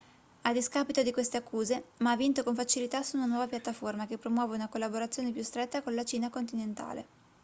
a discapito di queste accuse ma ha vinto con facilità su una piattaforma che promuove una collaborazione più stretta con la cina continentale